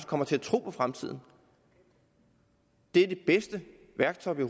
kommer til at tro på fremtiden det er det bedste værktøj vi